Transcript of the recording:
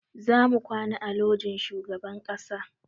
Za mu kwana a lojin shugaban ƙasa